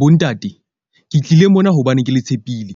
Bontate ke tlile mona hobane ke le tshepile,